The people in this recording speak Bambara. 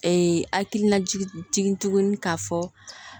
hakilina jigin tugun k'a fɔ